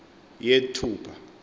yethupha